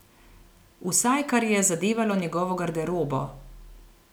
Vsaj kar je zadevalo njegovo garderobo.